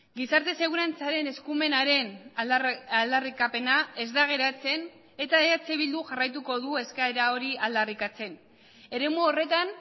gizarte segurantzaren eskumenaren aldarrikapena ez da geratzen eta eh bilduk jarraituko du eskaera hori aldarrikatzen eremu horretan